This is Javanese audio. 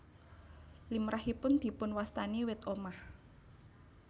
Limrahipun dipunwastani wit omah